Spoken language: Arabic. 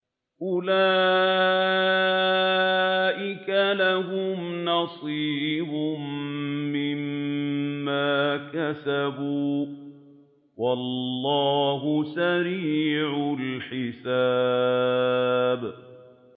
أُولَٰئِكَ لَهُمْ نَصِيبٌ مِّمَّا كَسَبُوا ۚ وَاللَّهُ سَرِيعُ الْحِسَابِ